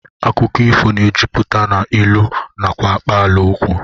Akụkọ ifo na-ejupụta n'ilu nakwa akpaalaokwu